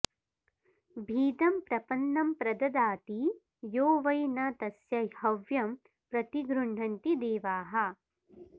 भीतं प्रपन्नं प्रददाति यो वै न तस्य हव्यं प्रतिगृह्णन्ति देवाः